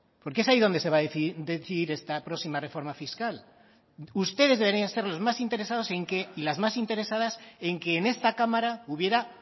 porque es ahí donde se va a decidir esta próxima reforma fiscal ustedes deberían ser los más interesados en que y las más interesadas en que en esta cámara hubiera